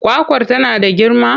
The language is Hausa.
Kwakwar tana da girma?